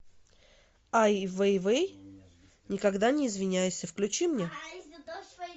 ай вейвей никогда не извиняйся включи мне